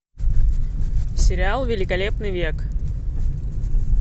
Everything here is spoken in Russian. сериал великолепный век